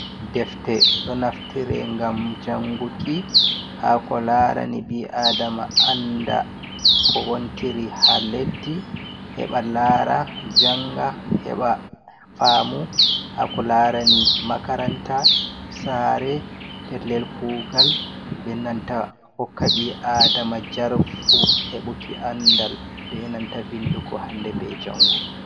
Defte. Ɗo naftire ngam janguki haa ko laarani ɓi-aadama anda ko wontiri haa leddi, heɓa laara, janga heɓa faamu haa ko laarani makaranta, saare pellel kuugal, be nanta kokka ɓi aadama jarfu heɓuki andal, be nanta vindugo hande, be jango.